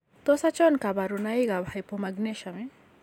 Tos achon kabarunaik ab Hypomagnesemia ?